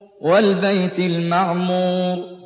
وَالْبَيْتِ الْمَعْمُورِ